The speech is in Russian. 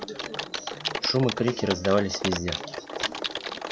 шум и крики раздавались везде